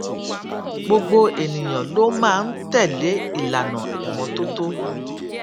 gbogbo ènìyàn ló máa ń tèlé ìlànà ìmótótó